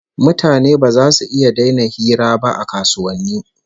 Mutane ba zasu iya daina hira ba a kasuwanni